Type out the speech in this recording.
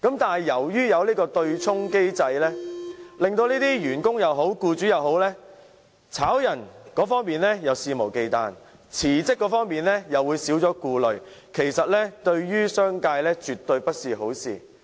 但是，由於有對沖機制，無論是員工或僱主，解僱一方會肆無忌憚，辭職一方又會少了顧慮，對商界也絕非好事。